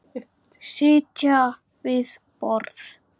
Sitja við borð